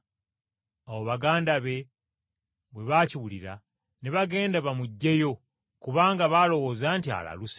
Awo baganda be bwe baakiwulira ne bagenda bamuggyeyo, kubanga baalowooza nti alaluse.